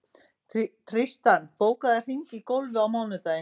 Tístran, bókaðu hring í golf á mánudaginn.